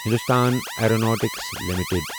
Hindustan aeronautics limited